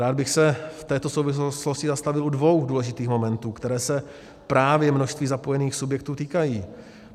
Rád bych se v této souvislosti zastavil u dvou důležitých momentů, které se právě množství zapojených subjektů týkají.